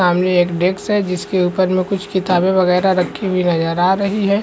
सामने एक डेस्क है जिसके ऊपर में कुछ किताबे बगैरा रखी हुई नजर आ रही है।